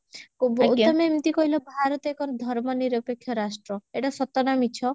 ତମେ ଏମତି କହିଲ ଭାରତ ଏକ ଧର୍ମ ନିରପେକ୍ଷ ରାଷ୍ଟ୍ର ଏଟା ସତ ନା ମିଛ?